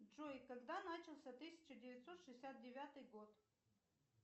джой когда начался тысяча девятьсот шестьдесят девятый год